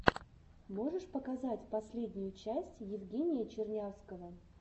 можешь показать последнюю часть евгения чернявского